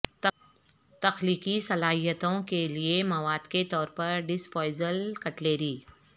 تخلیقی صلاحیتوں کے لئے مواد کے طور پر ڈسپوزایبل کٹلری